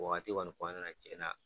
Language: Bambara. O waati kɔni tuma dɔw la tiɲɛna